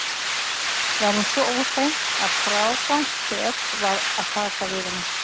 Var hún svo óhrein að frágangssök var að taka við henni.